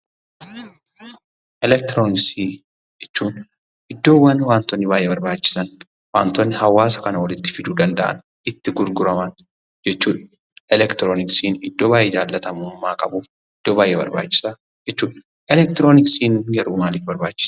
Elektirooniksii jechuun iddoowwan wantoonni baay'ee barbaachisan wantoonni hawaasa kana walitti fiduu danda'an itti gurguraman jechuudha. Elektirooniksiin iddoo baay'ee jaallatamummaa qabuf iddoo baay'ee barbaachisaa jechuudha. Elektirooniksiin garuu maalif barbaachise?